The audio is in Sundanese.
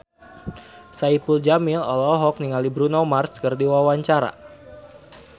Saipul Jamil olohok ningali Bruno Mars keur diwawancara